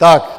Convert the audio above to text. Tak.